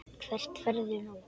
Hvert ferðu nú?